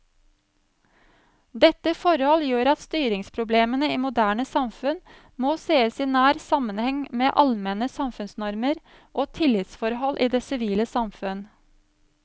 Dette forhold gjør at styringsproblemene i moderne samfunn må sees i nær sammenheng med allmenne samfunnsnormer og tillitsforhold i det sivile samfunn.